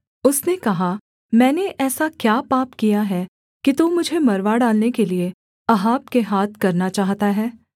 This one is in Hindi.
उसने कहा मैंने ऐसा क्या पाप किया है कि तू मुझे मरवा डालने के लिये अहाब के हाथ करना चाहता है